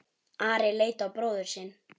Ari leit á bróður sinn.